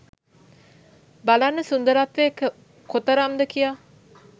බලන්න සුන්දරත්වය කොතරම්ද කියා